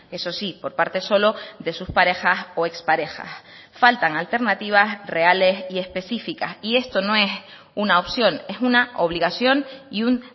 eso sí por parte solo de sus parejas o exparejas faltan alternativas reales y específicas y esto no es una opción es una obligación y un